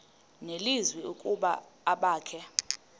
nelizwi ukuba abakhe